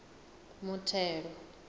muthelo